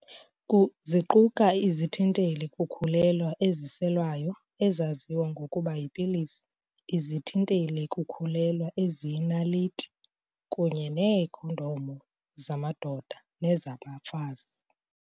Ziquka izithinteli-kukhulelwa eziselwayo, ezaziwa ngokuba 'yipilisi', izithinteli-kukhulelwa eziyinaliti, kunye neekhondomu zamadoda nezabafazi.